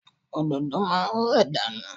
Òdòdó máa ń rẹ̀ dànù.